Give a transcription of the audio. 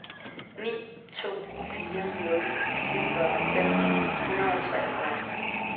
ni to fire nul niogfyrre fem hundrede og treogfyrre